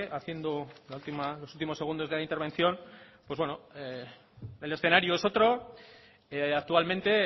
haciendo los últimos segundos de la intervención el escenario es otro actualmente